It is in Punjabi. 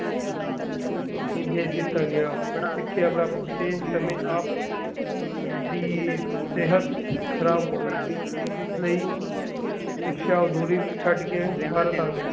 ਭੇਜ ਦਿਤਾ ਗਿਆ ਸਿੱਖਿਆ ਪ੍ਰਾਪਤੀ ਦੇ ਸਮੇਂ ਆਪ ਦੀ ਸਿਹਤ ਖ਼ਰਾਬ ਹੋ ਗਈ ਇਸ ਲਈ ਸਿੱਖਸ਼ਾ ਅਧੂਰੀ ਛੱਡ ਕੇ ਭਾਰਤ ਆ ਗਏ।